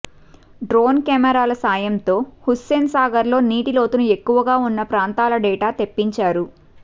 drone కెమెరాల సాయంతో హుస్సేన్ సాగర్లో నీటి లోతు ఎక్కువగా ఉన్న ప్రాంతాల డేటా తెప్పించారు